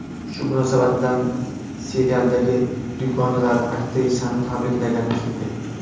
Shu munosabat bilan serialdagi dugonalari aktrisani tabriklagani keldi.